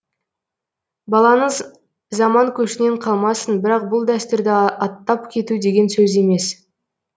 балаңыз заман көшінен қалмасын бірақ бұл дәстүрді аттап кету деген сөз емес